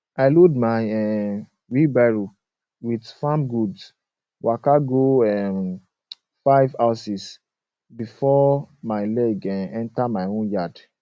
i load my um wheelbarrow with farm goods waka go um five houses before my leg enter um my own yard